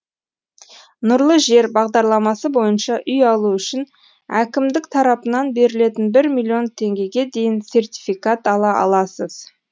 нұрлы жер бағдарламасы бойынша үй алу үшін әкімдік тарапынан берілетін бір миллион теңгеге дейін сертификат ала аласыз